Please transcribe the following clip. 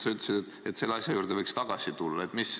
Sa ütlesid, et selle asja juurde võiks tagasi tulla.